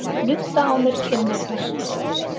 Nudda á mér kinnarnar.